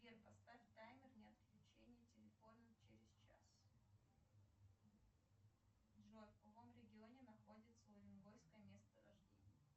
сбер поставь таймер на отключение телефона через час джой в каком регионе находится уренгойское месторождение